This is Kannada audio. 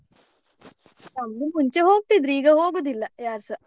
ನಮ್ದು ಮುಂಚೆ ಹೋಗ್ತಿದ್ರು ಈಗ ಹೋಗುದಿಲ್ಲ ಯಾರ್ಸ.